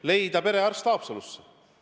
Tuleb leida perearst Haapsalusse.